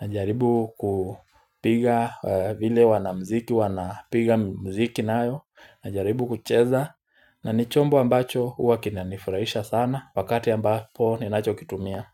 Najaribu kupiga vile wanamziki wanapiga mziki nayo. Najaribu kucheza. Na ni chombo ambacho huwa kinanifurahisha sana. Wakati ambapo ninacho kitumia.